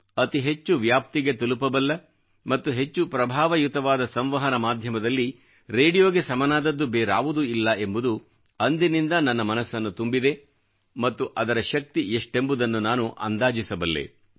ಅತಿ ಹೆಚ್ಚು ವ್ಯಾಪ್ತಿಗೆ ತಲುಪಬಲ್ಲ ಮತ್ತು ಹೆಚ್ಚು ಪ್ರಭಾವಯುತವಾದ ಸಂವಹನ ಮಾಧ್ಯಮದಲ್ಲಿ ರೇಡಿಯೋಗೆ ಸಮನಾದದ್ದು ಬೇರಾವುದೂ ಇಲ್ಲ ಎಂಬುದು ಅಂದಿನಿಂದ ನನ್ನ ಮನಸ್ಸನ್ನು ತುಂಬಿದೆ ಮತ್ತು ಅದರ ಶಕ್ತಿ ಎಷ್ಟೆಂಬುದನ್ನು ನಾನು ಅಂದಾಜಿಸಬಲ್ಲೆ